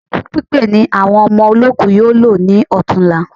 Òkú pípé ni àwọn ọmọ olóòku yóò lò ní ọ̀tunla